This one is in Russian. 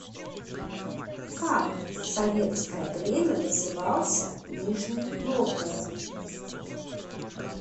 как в советское время назывался нижний новгород